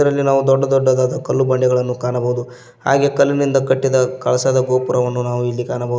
ಇಲ್ಲಿ ನಾವು ದೊಡ್ಡ ದೊಡ್ಡದಾದ ಕಲ್ಲು ಬಂಡೆಗಳನ್ನು ಕಾಣಬೋದು ಹಾಗೆ ಕಲ್ಲಿನಿಂದ ಕಟ್ಟಿದ ಕಳಸದ ಗೋಪುರವನ್ನು ನಾವು ಇಲ್ಲಿ ಕಾಣಬೋ--